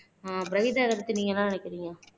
அஹ்